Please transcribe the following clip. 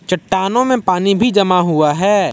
चट्टानों में पानी भी जमा हुआ है।